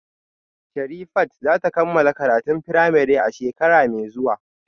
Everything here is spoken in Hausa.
Sherifat za ta kammala karatun firamare a shekara mai zuwa